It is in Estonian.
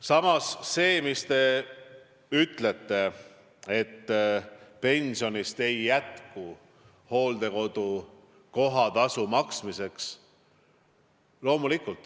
Samas, ütlete, et pensionist ei jätku hooldekodu kohatasu maksmiseks.